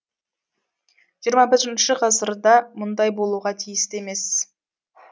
жиырма бірінші ғасырда мұндай болуға тиісті емес